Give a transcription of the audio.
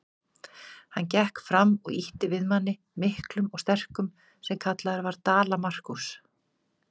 Hann gekk fram og ýtti við manni, miklum og sterkum, sem kallaður var Dala-Markús.